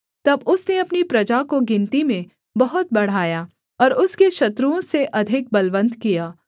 तब उसने अपनी प्रजा को गिनती में बहुत बढ़ाया और उसके शत्रुओं से अधिक बलवन्त किया